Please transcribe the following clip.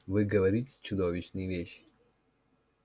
вы говорите чудовищные вещи